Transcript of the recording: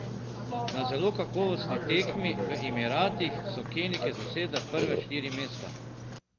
Na zelo kakovostni tekmi v Emiratih so Kenijke zasedle prva štiri mesta.